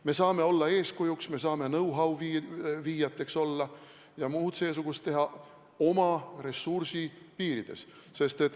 Me saame olla eeskujuks, me saame olla know-how viijad ja muud seesugust teha oma ressursi piirides.